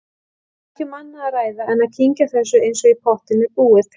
Ekki um annað að ræða en að kyngja þessu eins og í pottinn er búið.